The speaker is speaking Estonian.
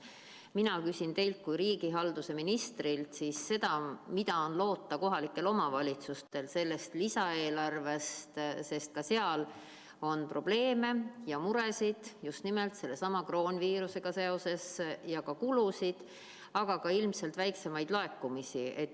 Mina küsin teilt kui riigihalduse ministrilt, mida on loota sellest lisaeelarvest kohalikel omavalitsustel, sest ka seal on probleeme ja muresid just nimelt kroonviirusega seoses ja kulusid, aga ka ilmselt väiksemaid laekumisi.